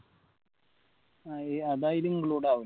അത് അയില് include ആവില്ല